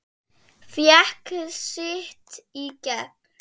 Fékk sitt í gegn.